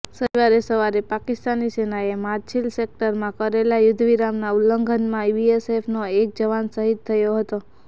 શનિવારે સવારે પાકિસ્તાની સેનાએ માછિલ સેક્ટરમાં કરેલા યુદ્ધવિરામનાં ઉલ્લંઘનમાં બીએસએફનો એક જવાન શહીદ થયો હતો